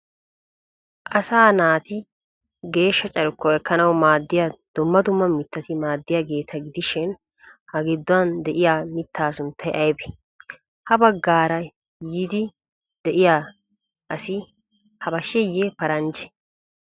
Asaa naati geeshsha carkkuwa ekkanawu maaddiya dumma dumma mittati maadiyageeta gidishi ha giduwan de'iya mittaa sunttay aybee? Ha baggaara yiidi de'iya asi habasheeye paranjjee?